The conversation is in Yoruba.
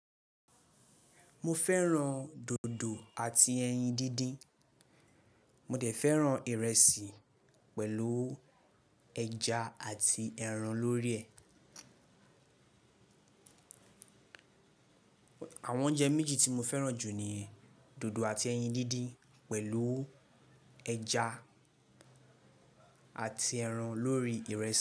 Mọ fẹ́ràn dòdò àti ẹyin díndín, mọ dẹ̀ fẹ́ràn ìrẹsì pẹ̀lú ẹja àti ẹran lórí ẹ̀. Àwọn oúnjẹ méjì tí mo fẹ́ràn jù ni dòdò àti ẹyin díndín pẹ̀lú ẹja àti ẹran lórí ìrẹsì.